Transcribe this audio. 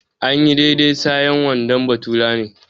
Anyi daidai sayen wandon bafulatani.